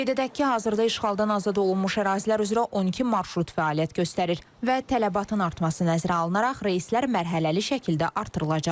Qeyd edək ki, hazırda işğaldan azad olunmuş ərazilər üzrə 12 marşrut fəaliyyət göstərir və tələbatın artması nəzərə alınaraq reyslər mərhələli şəkildə artırılacaq.